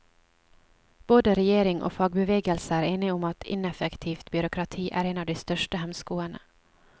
Både regjering og fagbevegelse er enige om at ineffektivt byråkrati er en av de største hemskoene.